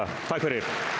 dag